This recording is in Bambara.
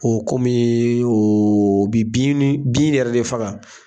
O kɔmi o bɛ bi ni bin yɛrɛ de faga.